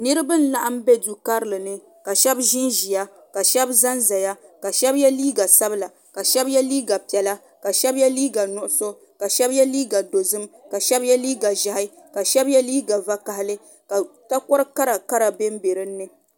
Niriba n-laɣim be du karili ni shɛba ʒinʒiya ka shɛba zanzaya ka shɛba ye liiga sabila ka shɛba ka shɛba ye liiga piɛla ka shɛba ye liiga nuɣuso ka shɛba ye liiga dozim ka shɛba ye liiga ʒɛhi ka shɛba ye liiga vakahili ka takor'karakara be dini.